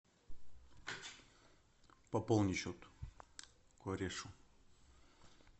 пополни счет корешу